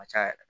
Ka ca yɛrɛ